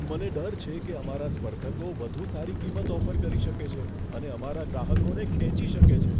મને ડર છે કે અમારા સ્પર્ધકો વધુ સારી કિંમત ઓફર કરી શકે છે અને અમારા ગ્રાહકોને ખેંચી શકે છે.